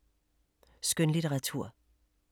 Skønlitteratur